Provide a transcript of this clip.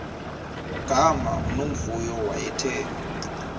gama unomvuyo wayethe